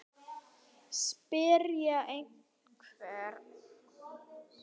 Spyrja hvern?